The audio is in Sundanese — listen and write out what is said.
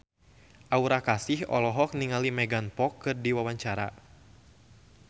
Aura Kasih olohok ningali Megan Fox keur diwawancara